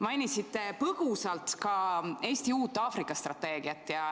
Mainisite põgusalt ka Eesti uut Aafrika strateegiat.